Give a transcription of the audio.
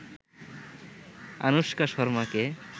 Anushka শর্মাকে